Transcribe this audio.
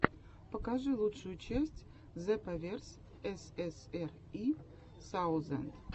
покажи лучшую часть зепаверс ссри саузенд